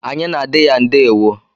Anyị na adị ya ndewo.